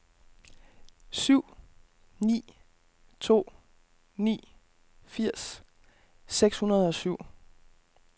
syv ni to ni firs seks hundrede og syv